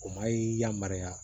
O ma y'i yamaruya